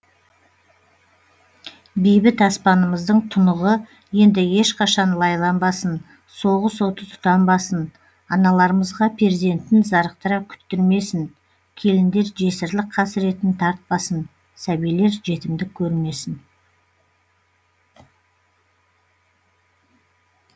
бейбіт аспанымыздың тұнығы енді ешқашан лайланбасын соғыс оты тұтанбасын аналарымызға перзентін зарықтыра күттірмесін келіндер жесірлік қасіретін тартпасын сәбилер жетімдік көрмесін